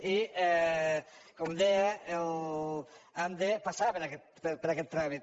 i com deia hem de passar per aquest tràmit